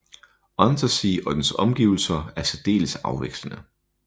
Untersee og dens omgivelser er særdeles afvekslende